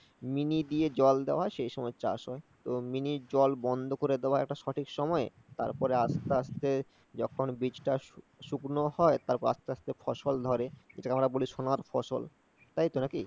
Mini দিয়ে জল দেওয়া সে সময় চাষ হয়। তো মিনি জল বন্ধ করে দেওয়ার একটা সঠিক সময় তারপর আস্তে আস্তে যখন বীজটা শুকনো হয় তারপর আস্তে আস্তে ফসল ধরে যেটাকে আমরা বলি সোনার ফসল। তাইতো নাকি?